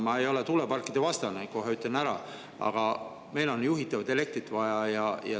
Ma ei ole tuulepargivastane, ütlen kohe ära, aga meil on juhitavat elektrit vaja.